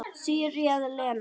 Því réð Lena.